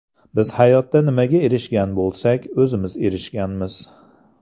Biz hayotda nimaga erishgan bo‘lsak, o‘zimiz erishganmiz.